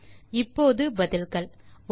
இப்போது பதில்கள் 1